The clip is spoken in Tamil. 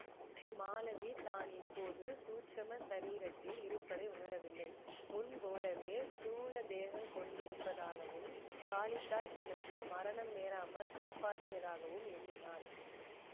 மாலதி தான் இப்போது சூட்சும சரீரத்தில் இருப்பதையும் உணரவில்லை முன் போலவே ஸ்தூல தேகங் கொண்டிருப்பதாகவும் காளித்தாய் தனக்கு மரணம் நேராமல் காப்பாற்றியதாகவும் எண்ணினாள்